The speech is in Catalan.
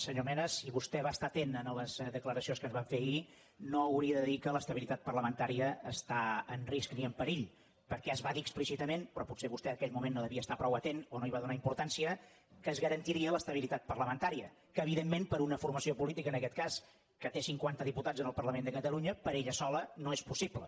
senyor mena si vostè va estar atent en les declaracions que es van fer ahir no hauria de dir que l’estabilitat parlamentària està en risc ni en perill perquè es va dir explícitament però potser vostè en aquell moment no va estar prou atent o no hi va donar importància que es garantiria l’estabilitat parlamentària que evidentment per a una formació política en aquest cas que té cinquanta diputats en el parlament de catalunya per ella sola no és possible